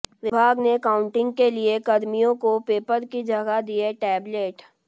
विभाग ने काउंटिंग के लिए कर्मियों को पेपर की जगह दिए टेबलेट